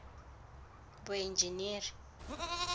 boenjeniri